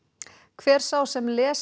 hver sá sem les